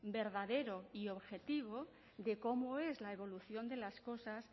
verdadero y objetivo de cómo es la evolución de las cosas